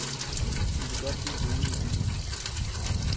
De vil godt blive boende i byen.